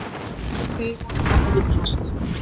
Þeir voru víst að villast.